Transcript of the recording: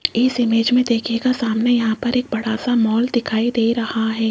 इस इमेज में देखिएगा सामने यहां पर एक बड़ा सा मॉल दिखाई दे रहा है।